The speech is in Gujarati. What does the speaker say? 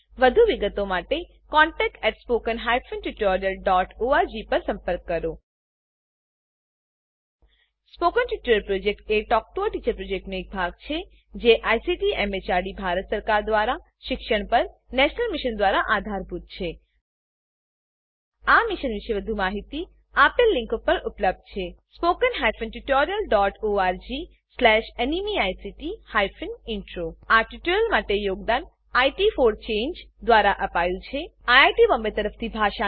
વધુ વિગતો માટે contactspoken tutorialorg પર લખો spoken tutorial project talk to a teacher પ્રોજેક્ટનો એક ભાગ છે જેને આઈસીટી એમએચઆરડી ભારત સરકાર મારફતે શિક્ષણ પર નેશનલ મિશન દ્વારા આધાર અપાયેલ છે આ મિશન પરની વધુ માહિતી spoken tutorialorgnmeict ઇન્ટ્રો પર ઉપલબ્ધ છે આ ટ્યુટોરીયલ માટે યોગદાન ઇટ ફોર ચાંગે દ્વારા અપાયું છે અમને જોડાવાબદ્દલ આભાર